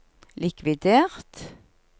likvidert